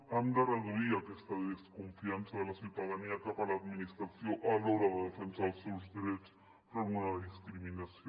hem de reduir aquesta desconfiança de la ciutadania cap a l’administració a l’hora de defensar els seus drets enfront d’una discriminació